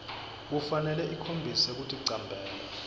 kufanele ikhombise kuticambela